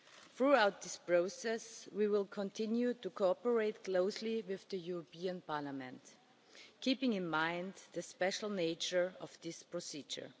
Throughout this process we will continue to cooperate closely with Parliament, keeping in mind the special nature of this procedure.